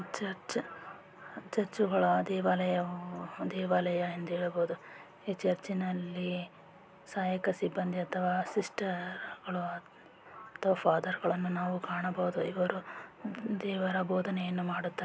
ಮ್ಮ ಚ ಚ ಅಂತ ಚರ್ಚ್‌ಗಳ ದೇವಾಲಯ ಒಂದು ಚರ್ಚ್‌ನಲ್ಲಿ ಸಹಾಯಕ ಸಿಬ್ಬಂದಿ ಅಥವಾ ಸಿಮೆಂಟ್ಹಲೋ ತತ್ವಾದರ್ಶಗಳನ್ನು ನಾವು ಕಾಣಬಹುದು ದೇವರ ಬೋಧನೆಯನ್ನು ಮಾಡುತ್ತಾರೆ.